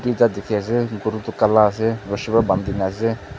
tuita dikhiase guru tu kala ase rushi pa bandina ase.